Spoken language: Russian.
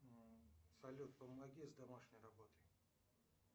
салют помоги с домашней работой